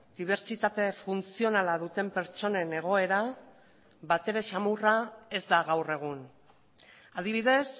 dibertsitate funtzionala duten pertsonen egoera batere samurra ez da gaur egun adibidez